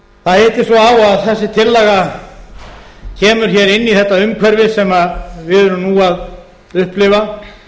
svo á að þessi tillaga kemur inn í þetta umhverfi sem við erum nú að upplifa